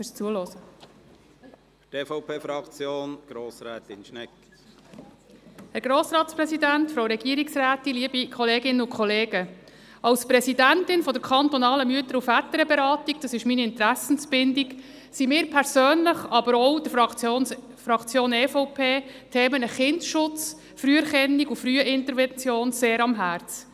Als Präsidentin der kantonalen Mütter- und Väterberatung – das ist meine Interessenbindung – liegen mir persönlich, aber auch der EVP-Fraktion, die Themen Kindesschutz, Früherkennung und Frühintervention sehr am Herzen.